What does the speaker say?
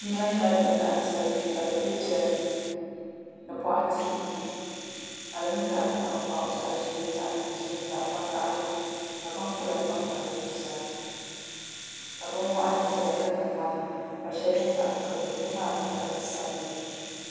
nɛma nyɛla bin laɣim zali kpe ka di be piɛri ni ni bɔɣatinima ni ka di zaɣ'tankpaɣu zaɣ'ʒee zaɣ'dozim zaɣ'vakahigu ka binkpula panpa di zuɣusaa ka bin waɣiŋli zaya ka nye ŋmani ka shɛli nye zaɣ'kpulli tiŋ maa niŋla zaɣ'sabinli